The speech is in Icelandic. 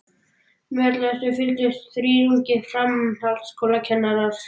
Með öllu þessu fylgdust þrír ungir framhaldsskólakennarar